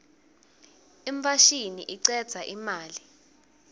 imfashini icedza imali